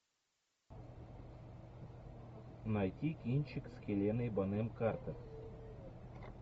найти кинчик с хеленой бонем картер